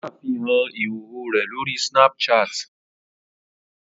Ó ṣàfihàn ìhòòhò rẹ̀ lórí Snapchat